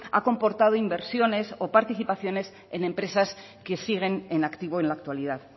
ha comportado inversiones o participaciones en empresas que siguen en activo en la actualidad